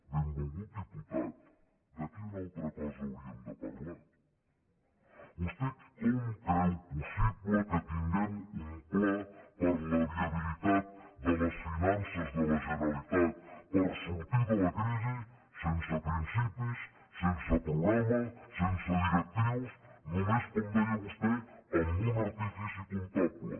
benvolgut diputat de quina altra cosa hauríem de parlar vostè com creu possible que tinguem un pla per a la viabilitat de les finances de la generalitat per sortir de la crisi sense principis sense programa sense directrius només com deia vostè amb un artifici comptable